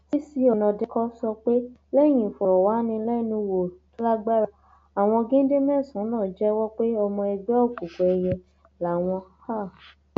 um cc ọnàdékọ sọ pé lẹyìn ìfọrọwánilẹnuwò tó lágbára àwọn géńdé mẹsànán náà jẹwọ pé ọmọ ẹgbẹ òkùnkùn ẹyẹ làwọn um